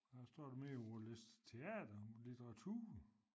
Hvad står der mere på vores liste teater litteratur